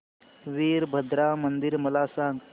वीरभद्रा मंदिर मला सांग